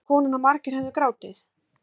Sagði konan að margir hefðu grátið